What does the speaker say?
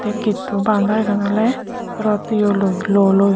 getto baondarugan oley rod yeloi luoloi.